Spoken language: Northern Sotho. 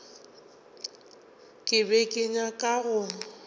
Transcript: ke be ke nyaka go